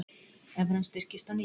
Evran styrkist á ný